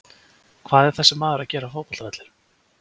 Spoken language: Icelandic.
Hvað er þessi maður að gera á fótbolta vellinum?